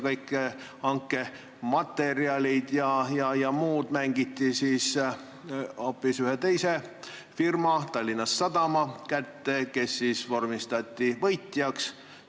Kõik hankematerjalid ja muu mängiti hoopis ühe teise firma, Tallinna Sadama kätte, kes vormistati võitjaks.